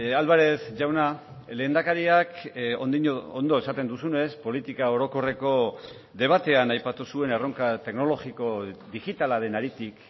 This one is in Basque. álvarez jauna lehendakariak ondo esaten duzunez politika orokorreko debatean aipatu zuen erronka teknologiko digitala den haritik